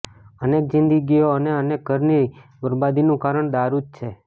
અનેક જિંદગીઓ અને અનેક ઘરની બરબાદીનું કારણ દારૂ જ છે